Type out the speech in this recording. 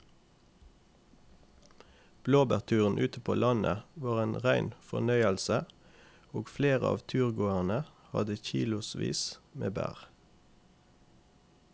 Blåbærturen ute på landet var en rein fornøyelse og flere av turgåerene hadde kilosvis med bær.